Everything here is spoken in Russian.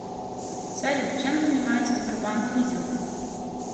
салют чем занимается сбербанк лизинг